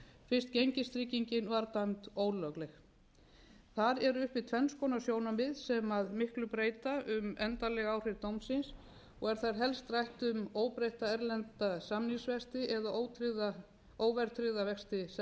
fyrst gengistryggingin var dæmd ólögleg þar eru uppi tvenns konar sjónarmið sem miklu breyta um endanleg áhrif dómsins og er þar helst rætt um óbreytta erlenda samningsvexti eða óverðtryggða vexti seðlabankans